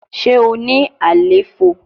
Ṣe o ni àléfọ?